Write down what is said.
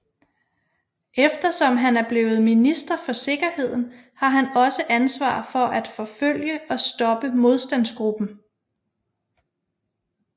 Eftersom han er blevet minister for sikkerheden har han også ansvar for at forfølge og stoppe Modstandsgruppen